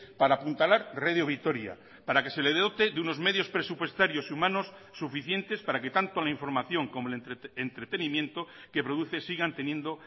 para apuntalar radio vitoria para que se le dote de unos medios presupuestarios humanos suficientes para que tanto la información como el entretenimiento que produce sigan teniendo